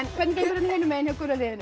hvernig gengur hinum megin hjá gula liðinu